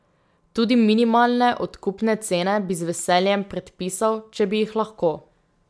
Tudi minimalne odkupne cene bi z veseljem predpisal, če bi jih lahko.